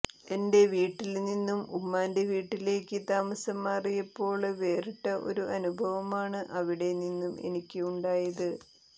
എന്റെ വീട്ടില്നിന്നും ഉമ്മാന്റെ വീട്ടിലേക്ക് താമസം മാറിയപ്പോള് വേറിട്ട ഒരു അനുഭവമാണ് അവിടെ നിന്നും എനിക്ക് ഉണ്ടായത്